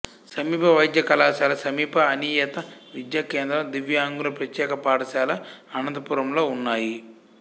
సమీప వైద్య కళాశాల సమీప అనియత విద్యా కేంద్రం దివ్యాంగుల ప్రత్యేక పాఠశాల అనంతపురం లో ఉన్నాయి